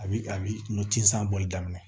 A bi a bi nun ci san bɔli daminɛ